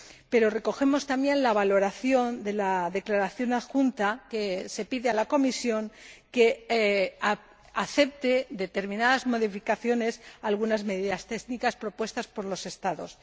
Pero destacamos también la valoración de la declaración adjunta en que se pide a la Comisión que acepte determinadas modificaciones algunas medidas técnicas propuestas por los Estados.